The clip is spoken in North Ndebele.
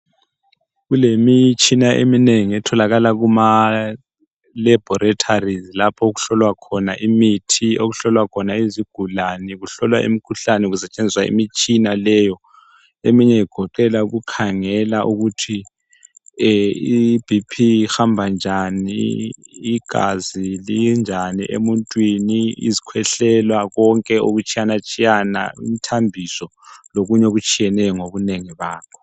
Kulemitshina eminengi etholakala kuma laboraties lapho okuhlolwa khona imithi, okuhlolwa khona izigulane kuhlolwa imikhuhlane kusetshenziswa imitshina leyo. Eminye igoqela ukukhangela ukuthi i B.P ihamba njani igazi linjani emuntwini izikhwehlela konke okutshiya tshiyana umthambiso lokunye okutshiyeneyo ngobunengi bakho.